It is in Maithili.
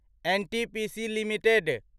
NTPC limited